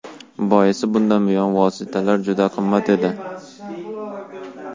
Boisi bunday vositalar juda qimmat edi.